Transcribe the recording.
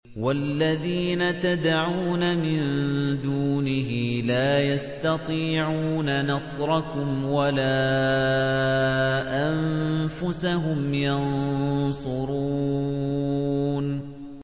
وَالَّذِينَ تَدْعُونَ مِن دُونِهِ لَا يَسْتَطِيعُونَ نَصْرَكُمْ وَلَا أَنفُسَهُمْ يَنصُرُونَ